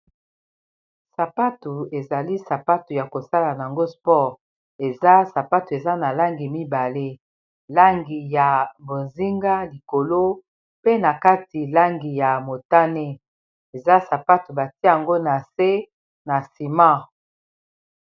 Sapatu, ezali sapatu ya kosala nango sport eza sapatu eza na langi mibale. Langi ya bozinga likolo pe na kati langi ya motane, eza sapatu batie yango na se na nsima.